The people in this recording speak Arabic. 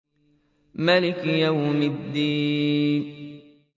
مَالِكِ يَوْمِ الدِّينِ